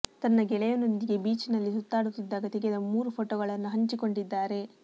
ತನ್ನ ಗೆಳೆಯನೊಂದಿಗೆ ಬೀಚ್ ನಲ್ಲಿ ಸುತ್ತಾಡುತ್ತಿದ್ದಾಗ ತೆಗೆದ ಮೂರು ಪೋಟೋ ಗಳನ್ನು ಹಂಚಿಕೊಂಡಿದ್ದಾರೆ